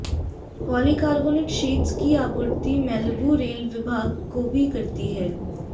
polycarbonate sheets की आपूर्ति Malibu rail विभाग को भी करती है